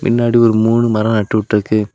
முன்னாடி ஒரு மூணு மரம் நட்டு விட்டு இருக்கு.